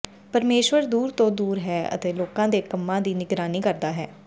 ਪਰਮੇਸ਼ੁਰ ਦੂਰ ਤੋਂ ਦੂਰ ਹੈ ਅਤੇ ਲੋਕਾਂ ਦੇ ਕੰਮਾਂ ਦੀ ਨਿਗਰਾਨੀ ਕਰਦਾ ਹੈ